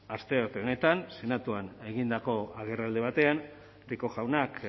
astearte honetan senatuan egindako agerraldi batean rico jaunak